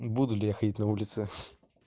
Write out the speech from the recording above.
буду ли я ходить на улице